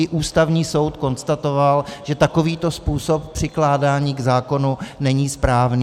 I Ústavní soud konstatoval, že takovýto způsob přikládání k zákonu není správný.